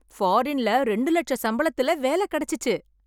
பாரின்ல ரெண்டு லட்ச சம்பளத்துல வேலை கிடைச்சுச்சு